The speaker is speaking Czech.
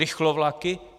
Rychlovlaky?